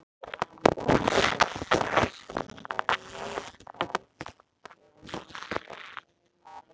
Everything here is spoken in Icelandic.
Jónas Hallgrímsson var ljóðskáld.